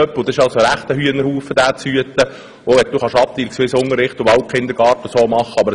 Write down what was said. Es ist sehr schwierig, diese grosse Gruppe zu hüten, auch wenn man abteilungsweisen Unterricht anbieten oder in den Wald gehen kann.